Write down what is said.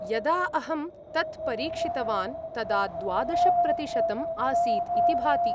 यदा अहं तत् परीक्षितवान् तदा द्वादश प्रतिशतम् आसीत् इति भाति।